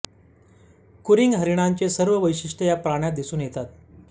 कुरंग हरीणांचे सर्व वैशिठ्ये या प्राण्यात दिसून येतात